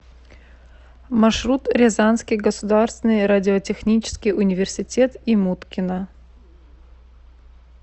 маршрут рязанский государственный радиотехнический университет имуткина